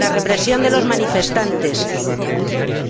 La represión de los manifestantes,